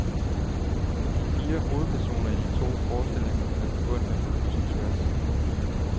De fire hovedpersoner i de to forestillinger er forbundne på kryds og tværs.